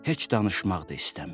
Heç danışmaq da istəmir.